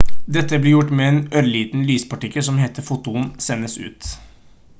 dette blir gjort med en ørliten lyspartikkel som heter «foton» sendes ut